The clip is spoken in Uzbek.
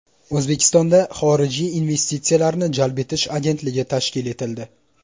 O‘zbekistonda Xorijiy investitsiyalarni jalb etish agentligi tashkil etildi.